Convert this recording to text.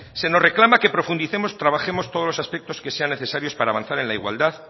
se nos reclama que profundicemos y trabajemos todos los aspectos que sean necesarios para avanzar en la igualdad